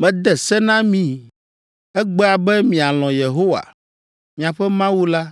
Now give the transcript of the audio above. Mede se na mi egbea be mialɔ̃ Yehowa, miaƒe Mawu la,